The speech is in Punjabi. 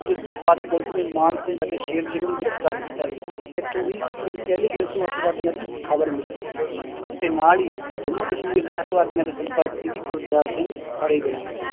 ਜਿਸ ਤੋਂ ਬਾਅਦ ਪੁਲਿਸ ਨੇ ਮਾਨ ਸਿੰਘ ਅਤੇ ਸ਼ੇਰ ਸਿੰਘ ਨੂੰ ਗ੍ਰਿਫ਼ਤਾਰ ਕੀਤਾ ਸੀ, ਇੱਥੋਂ ਹੀ intelligence ਨੂੂੰ ਆਤੰਕਵਾਦੀਆਂ ਦੀ ਖ਼ਬਰ ਮਿਲੀ ਸੀ ਤੇ ਨਾਲ ਹੀ ਜੰਮੂ ਕਸ਼ਮੀਰ ਦੇ ਆਤੰਕਵਾਦੀਆਂ ਦੇ ਸੰਪਰਕ ਚ ਵੀ ਗਰਦਿਆਲ ਸਿੰਘ ਫੜੇ ਗਏ